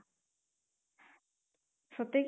ସତେ